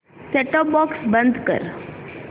set top box बंद कर